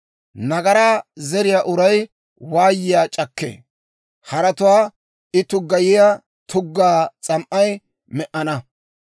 Nagaraa zeriyaa uray waayiyaa c'akkee; haratuwaa I tuggayiyaa tugga s'am"ay me"enna.